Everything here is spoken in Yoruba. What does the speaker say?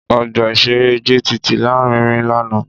Ọgbà-ìṣeré JTT lárinrin lánàá